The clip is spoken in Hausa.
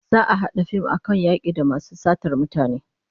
Za'a a hada fim akan yaki da masu satar mutane